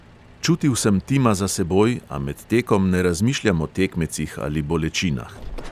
Čutil sem tima za seboj, a med tekom ne razmišljam o tekmecih ali bolečinah.